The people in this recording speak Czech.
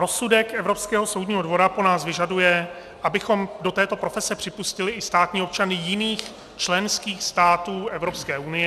Rozsudek Evropského soudního dvora po nás vyžaduje, abychom do této profese připustili i státní občany jiných členských států Evropské unie.